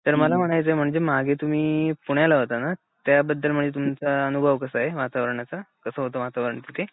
तर मला म्हणायचंय मागे तुम्ही पुण्याला होता ना? त्या बद्दल म्हणजे तुमचा अनुभव कसा आहे वातावरणाचा, कसं होत वातावरण तिथे?